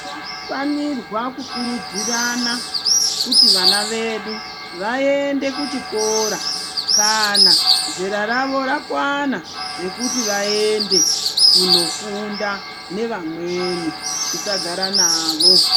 Tinofanirwa kukurudzirana kuti vana vedu vaende kuchikora kana zera ravo rakwana rekuti vaende kunofunda nevamweni tisagara navo.